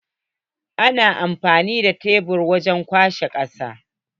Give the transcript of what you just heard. Ana amfani da shebur wajen kwashe kasa.